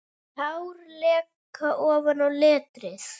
Tár leka ofan á letrið.